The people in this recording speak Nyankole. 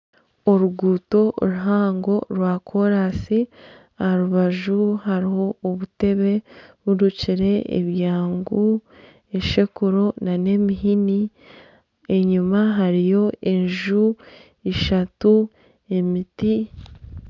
Oruguuto ruhango rwakoorasi, aha rubaju hariho obuteebe burukire, ebyangu, eshekuro nana emihini, enyima hariyo enju eishatu emiti